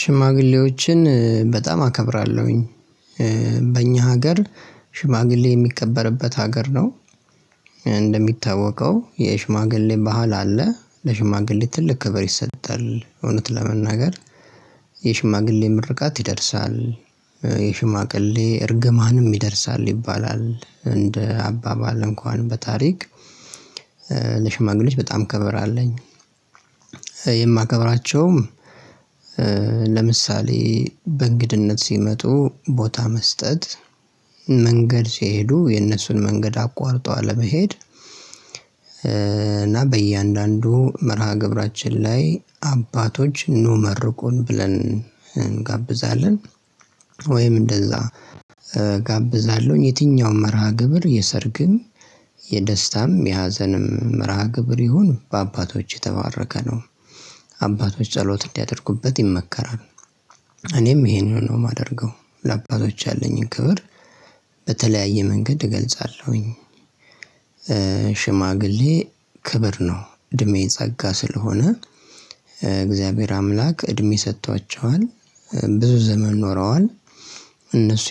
ሽማግሌዎችን በጣም አከብራለሁኝ። በእኛ ሀገር ሽማግሌ የሚከበርበት ሀገር ነው። እንደሚታወቀው የሽማግሌ ባህል አለ። ለሽማግሌ ትልቅ ክብር ይሰጣል እውነት ለመናገር የሽማግሌ ምርቃት ይደርሳል የሽማግሌ እርግማንም ይደርሳል ይባላል እንደ አባባል እንኳን በታሪክ። ለሽማግሌዎች በጣም ክብር አለኝ። የማከብራቸውም ለምሳሌ በእንግድነት ሲመጡ ቦታ መስጠት መንገድ ሲሄዱ የነሱን መንገድ አቋርጦ አለመሄድ እና በእያንዳንዱ መርሃ ግብራችን ላይ አባቶች ኑ መርቁን ብለን እንጋብዛለን። ወይም እንደዛ እጋብዛለሁኝ። የትኛውም መርሃ ግብር የሰርግም የደስታም የሀዘንም መርሃ ግብር ይሁን በአባቶች የተባረከ ነው። አባቶች ጸሎት እንዲያደርጉበት ይመከራል። እኔም ይሄንኑ ነው የማደርገው። ለአባቶች ያለኝን ክብር በተለያየ መንገድ እገልጻለሁኝ። ሽማግሌ ክብር ነው እድሜ ጸጋ ስለሆነ። እግዚአብሔር አምላክ እድሜ ሰጥቷቸዋል ብዙ ዘመን ኖረዋል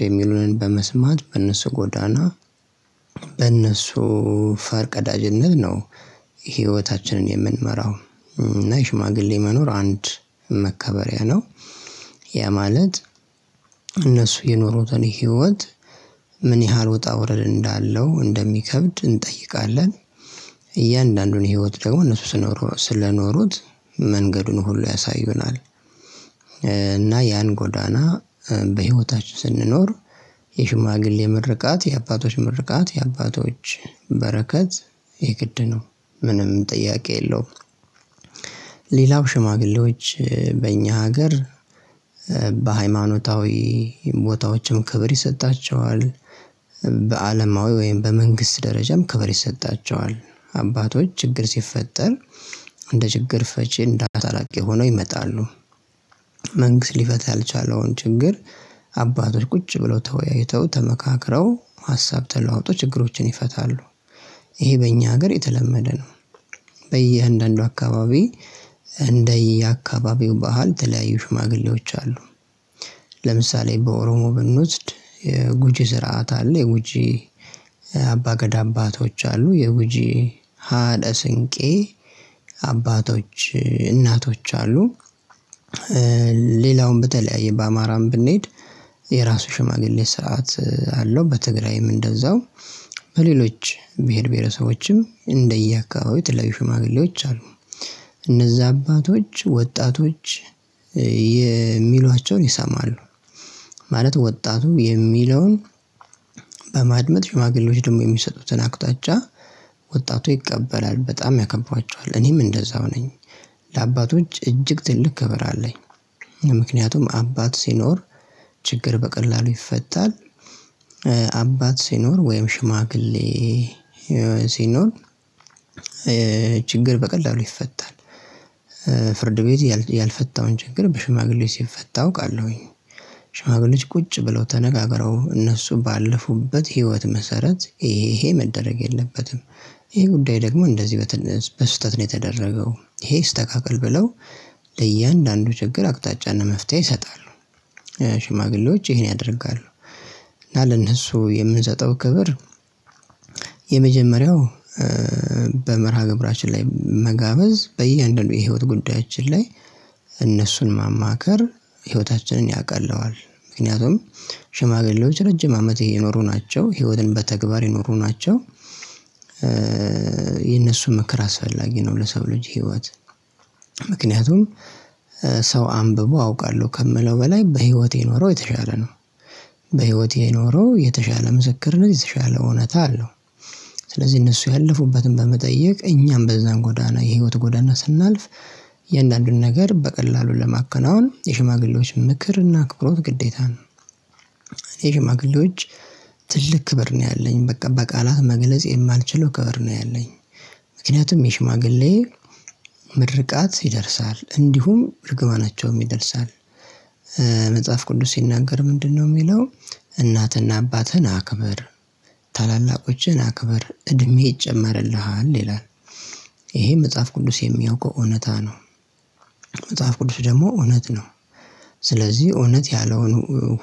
የሚሉንን በመስማት በእነሱ ጎዳና በእነሱ ፈር ቀዳጅነት ነው ህይወታችንን የምንመራው። እና የሽማግሌ መኖር አንድ መከበሪያ ነው። ያ ማለት እነሱ የኖሩትን ህይወት ምን ያህል ውጣ ወረድ እንዳለው እንደሚከብድ እንጠይቃለን እያንዳንዱን ህይወት ደግሞ እነሱ ስለኖሩት መንገዱን ሁሉ ያሳዩናል። እና ያን ጎዳና በህይወታችን ስንኖር የሽማግሌ ምርቃት የአባቶች ምርቃት የአባቶች በረከት የግድ ነው። ምንም ጥያቄ የለውም። ሌላው ሽማግሌዎች በእኛ ሀገር በሃይማኖታዊ ቦታዎችም ክብር ይሰጣቸዋል በአለማዊ ወይም በመንግስት ደረጃም ክብር ይሰጣቸዋል። አባቶች ችግር ሲፈጠር እንደ ችግር ፈቺ እንደ አስታራቂ ሆነው ይመጣሉ። መንግስት ሊፈታ ያልቻለውን ችግር አባቶች ቁጭ ብለው ተወያይተው ተመካክረው ሀሳብ ተለዋውጠው ችግሮችን ይፈታሉ። ይሄ በእኛ ሀገር የተለመደ ነው። በየአንዳንዱ አካባቢ እንደየ አካባቢው ባህል የተለያዩ ሽማግሌዎች አሉ። ለምሳሌ በኦሮሞ ብንወስድ የጉጂ ስርዓት አለ የጉጂ አባ ገዳ አባቶች አሉ የጉጂ ሀዸ ስንቄ አባቶች እናቶች አሉ። ሌላውን በተለያየ በአማራም ብንሄድ የራሱ ሽማግሌ ሰርዓት አለው በትግራይም እንደዛው በሌሎች ብሄር ብሄረሰቦችም እንደየ አካባቢው የተለያዩ ሽማግሌዎች አሉ። እነዛ አባቶች ወጣቶች የሚሏቸው ይሰማሉ። ማለት ወጣቱ የሚለውን በማድመጥ ሽማግሌዎች ደግሞ የሚሰጡትን አቅጣጫ ወጣቱ ይቀበላል በጣም ያከብሯቸዋል። እኔም እንደዛው ነኝ። ለአባቶች እጅግ ትልቅ ክብር አለኝ። ምክንያቱም አባት ሲኖር ችግር በቀላሉ ይፈታል። አባት ሲኖር ወይም ሽማግሌ ሲኖር ችግር በቀላሉ ይፈታል። ፍርድ ቤት ያልፈታውን ችግር በሽማግሌ ሲፈታ አውቃለሁኝ። ሽማግሌዎች ቁጭ ብለው ተነጋግረው እነሱ ባለፉበት ህይወት መሰረት ይሄ ይሄ መደረግ የለበትም፤ ይሄ ጉዳይ ደግሞ እንደዚህ በስህተት ነው የተደረገው፤ ይሄ ይስተካከል ብለው ለእያንዳንዱ ችግር አቅጣጫና መፍትሄ ይሰጣሉ። ሽማግሌዎች ይሄን ያደርጋሉ። እና ለነሱ የምንሰጠው ክብር የመጀመሪያው በመርሃ ግብራችን ላይ መጋበዝ በየአንዳንዱ የህይወት ጉዳያችን ላይ እነሱን ማማከር ህይወታችንን ያቀለዋል። ምክንያቱም ሽማግሌዎች ረጅም አመት የኖሩ ናቸው ህይወትን በተግባር የኖሩ ናቸው። የነሱ ምክር አስፈላጊ ነው ለሰው ልጅ ህይወት። ምክንያቱም ሰው አንብቦ አውቃለሁ ከሚለው በላይ በህይወት የኖረው የተሻለ ነው። በህይወት የኖረው የተሻለ ምስክርነት የተሻለ እውነታ አለው። ስለዚህ እነሱ ያለፉበትን በመጠየቅ እኛም በዛ ጎዳና የህይወት ጎዳና ስናልፍ እያንዳንዱን ነገር በቀላሉ ለማከናወን የሽማግሌዎች ምክርና አክብሮት ግዴታ ነው። የሽማግሌዎች ትልቅ ክብር ነው ያለኝ በቃ በቃላት መግለጽ የማልችለው ክብር ነው ያለኝ። ምክንያቱም የሽማግሌ ምርቃት ይደርሳል እንዲሁም እርግማናቸውም ይደርሳል። መጽሐፍ ቅዱስ ሲናገር ምንድነው ሚለው እናትና አባትህን አክብር ታላላቆችህን አክብር እድሜ ይጨመርልሃል ይላል። ይሄ መጽሐፍ ቅዱስ የሚያውቀው እውነታ ነው። መጽሐፍ ቅዱስ ደግሞ እውነት ነው። ስለዚህ እውነት ያለውን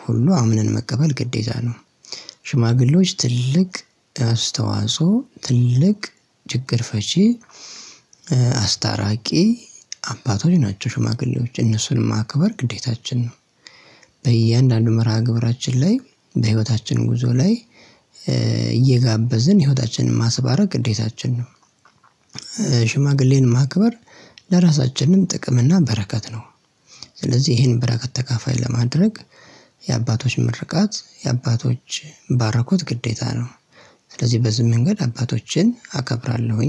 ሁሉ አምነን መቀበል ግዴታ ነው። ሽማግሌዎች ትልቅ አስተዋጽኦ ትልቅ ችግር ፈቺ አስታራቂ አባቶች ናቸው ሽማግሌዎች። እነሱን ማክበር ግዴታችን ነው። በእያንዳንዱ መርሃ ግብራችን ላይ በህይወታችን ጉዞ ላይ እየጋበዝን ህይወታችንን ማስባረክ ግዴታችን ነው። ሽማግሌን ማክበር ለራሳችንም ጥቅም እና በረከት ነው። ስለዚህ ይሄን በረከት ተካፋይ ለማድረግ የአባቶች ምርቃት የአባቶች ባረኮት ግዴታ ነው። ስለዚህ በዚህ መንገድ አባቶችን አከብራለሁኝ